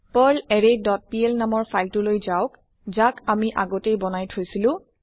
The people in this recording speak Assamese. পাৰ্লাৰৰে ডট পিএল নামৰ ফাইল টো লৈ যাওক যাক আমি আগতেই বনাই থৈছিলো